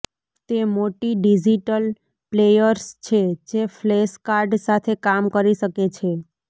તે મોટી digital players છે જે ફ્લેશ કાર્ડ સાથે કામ કરી શકે છે